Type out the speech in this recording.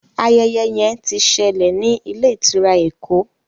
Ayeye yen tí ṣẹlẹ ní Ilé-ìtura Ẹkọ